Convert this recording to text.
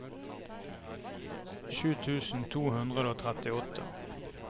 sju tusen to hundre og trettiåtte